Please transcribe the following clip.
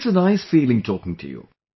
It's a nice feeling taking to you